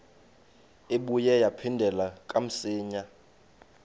ibuye yaphindela kamsinya